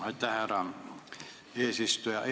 Aitäh, härra eesistuja!